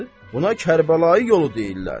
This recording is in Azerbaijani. Buna Kərbəlayı yolu deyirlər.